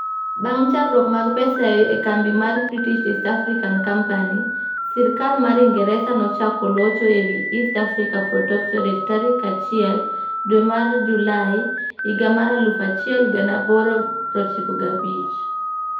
Bang' chandruok mag pesa e kambi mar British East African Company, sirkal mar Ingresa nochako locho e wi East Africa Protectorate tarik 1 dwe mar Julai 1895.